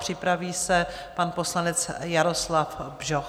Připraví se pan poslanec Jaroslav Bžoch.